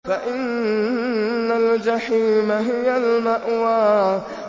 فَإِنَّ الْجَحِيمَ هِيَ الْمَأْوَىٰ